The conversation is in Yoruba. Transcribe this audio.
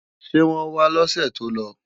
Ṣé wọ́n wá lọ́sè tó lọ?